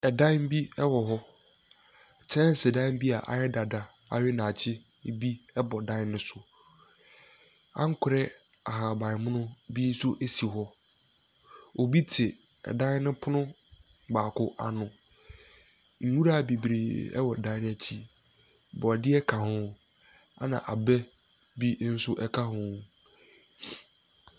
Dan bi wɔ hɔ, kyɛnsedan bi ayɛ dada awe nyakye bi bɔ dan ne so, ankorɛ ahabanmono bi nso si hɔ. Obi te dan ne pono baako ano, nwura bebree wɔ dan no akyi, borɔdeɛ ka ho na abɛ bi nso ka ho.